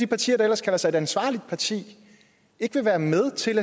parti der ellers kalder sig et ansvarligt parti ikke vil være med til